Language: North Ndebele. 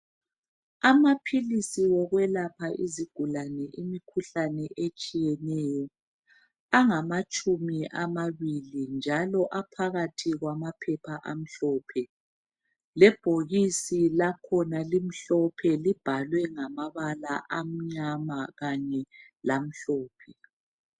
Amaphilisi wokwelapha izigulane imikhuhlane etshiyeneyo, angamatshumi amabili .Njalo aphakathi kwamaphepha amhlophe ,lebhokisi lakhona limhlophe libhalwe ngamabala amnyama kanye lamhlophe.